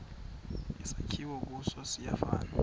esakhiwe kuso siyafana